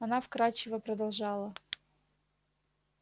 она вкрадчиво продолжала